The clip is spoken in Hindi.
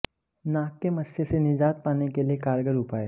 नाक के मस्से से निजात पाने के लिए कारगर उपाय